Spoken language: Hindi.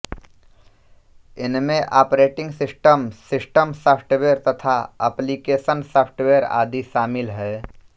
इनमें ऑपरेटिंग सिस्टम सिस्टम सॉफ्टवेयर तथा ऍप्लीकेशन सॉफ्टवेयर आदि शामिल हैं